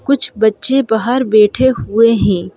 कुछ बच्चे बाहर बैठे हुए हैं ।